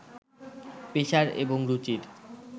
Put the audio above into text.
পেশার এবং রুচির